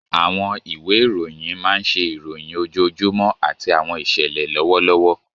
Àwọn ìwé ìròyìn máa ń ṣe ìròyìn ojoojúmọ́ àti àwọn ìṣẹ̀lẹ̀ lọ́wọ́lọ́wọ́.